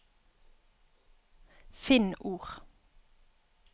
Finn ord